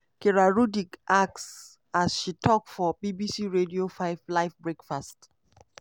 kira rudik ask as she tok for bbc radio 5 live breakfast.